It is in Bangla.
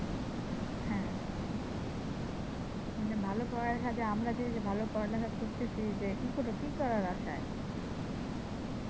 হ্যাঁ। মানি ভালো পড়ালেখা করে আমরা যে ভালো পড়ালেখা করে করতাছি যে কি করে কি করার আশায়?